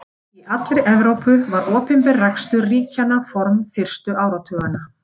Í allri Evrópu var opinber rekstur ríkjandi form fyrstu áratugina.